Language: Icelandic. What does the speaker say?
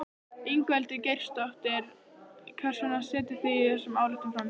Ingveldur Geirsdóttir: Hvers vegna setjið þið þessa ályktun fram?